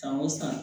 San o san